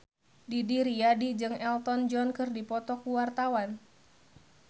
Didi Riyadi jeung Elton John keur dipoto ku wartawan